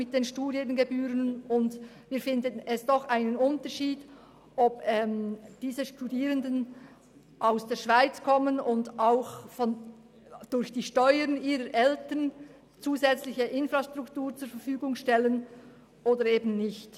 Wir denken, es macht doch einen Unterschied, ob diese Studierenden aus der Schweiz kommen und durch die Steuern ihrer Eltern einen Beitrag an die Infrastruktur leisten oder eben nicht.